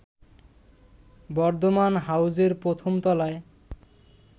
বর্ধমান হাউসের প্রথম তলায়